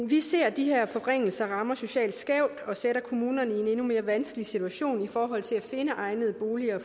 vi ser at de her forringelser rammer socialt skævt og sætter kommunerne i en endnu mere vanskelig situation i forhold til at finde egnede boliger